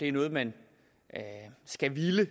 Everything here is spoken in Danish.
er noget man skal ville og